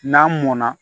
N'an mɔnna